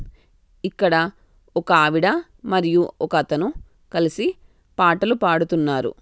ఇక్కడ ఒక ఆవిడ మరియు ఒక అతను కలసి పాటలు పాడుతున్నారు.